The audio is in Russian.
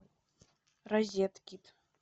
розеткид